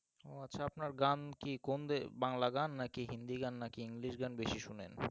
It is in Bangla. ও আচ্ছা আপনার গান কি কোন বাংলা গান না কি হিন্দি গান নাকি english গান বেশি শুনেন,